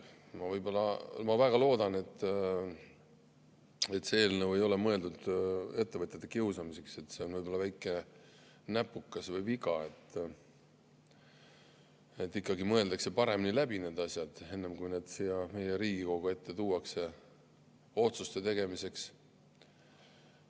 Ma väga loodan, et see eelnõu ei ole mõeldud ettevõtjate kiusamiseks, vaid see on võib-olla väike näpukas või viga, ja et ikkagi mõeldakse paremini läbi need asjad, enne kui need siia Riigikogu ette tuuakse otsuste tegemiseks.